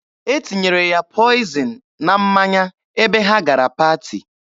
E tinyere ya pọịzịn na mmanya ebe ha gara paati.